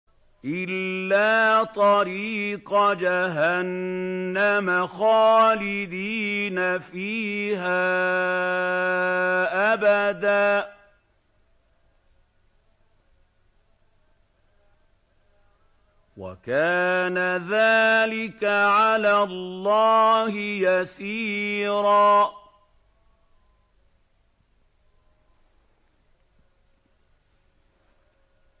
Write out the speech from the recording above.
إِلَّا طَرِيقَ جَهَنَّمَ خَالِدِينَ فِيهَا أَبَدًا ۚ وَكَانَ ذَٰلِكَ عَلَى اللَّهِ يَسِيرًا